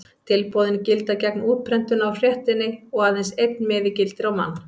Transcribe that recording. Tilboðin gilda gegn útprentunar á fréttinni og aðeins einn miði gildir á mann.